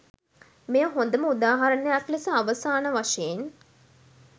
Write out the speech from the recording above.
මෙය හොඳම උදාහරණයක් ලෙස අවසාන වශයෙන්